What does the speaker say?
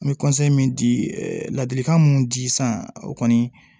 N bɛ min di ladilikan mun di sisan o kɔni